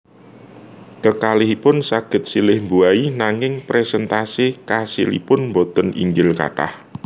Kekalihipun saged silih mbuahi nanging perséntase kasilipun boten inggil kathah